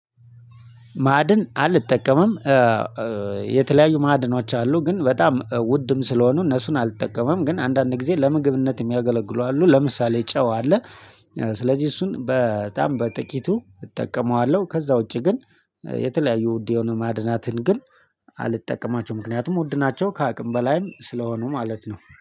ማዕድን አልተጠቀመም። የተለያዩ ማዕድኖች አሉ ግን በጣም ውድም ስለሆኑ እነሱን አልተጠቀመም ግን አንዳንድ ጊዜ ለምግብነት የሚያገለግሉ አሉ ለምሳሌ ጨው አለ። ስለዚህ እሱን በጣም በጥቂቱ እጠቀመዋለሁ። ከዛ ውጪ ግን የተለያዩ ውድ የሆኑ ማድናትን ግን አልጠቀማቸውም። ምክንያቱም ውድ ናቸው ከአቅም በላይም ስለሆኑ ማለት ነው